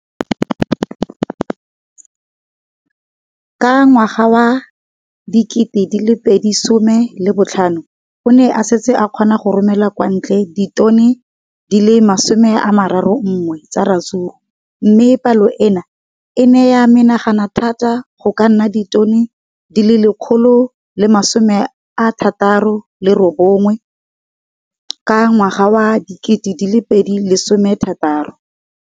Ka ngwaga wa 2015, o ne a setse a kgona go romela kwa ntle ditone di le 31 tsa ratsuru mme palo eno e ne ya menagana thata go ka nna ditone di le 168 ka ngwaga wa 2016.